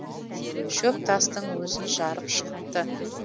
шөп тастың өзін жарып шықты